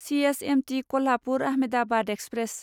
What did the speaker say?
C S M T Kolhapur Ahmedabad express